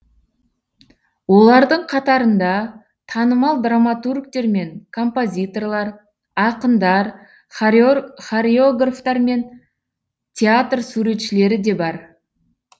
олардың қатарында танымал драматургтер мен композиторлар ақындар хореографтар мен театр суретшілері де бар